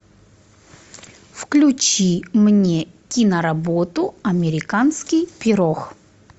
включи мне киноработу американский пирог